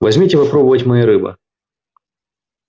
возьмите попробовать моей рыбы